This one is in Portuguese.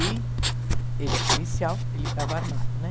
E ele é policial, ele estava armado, né?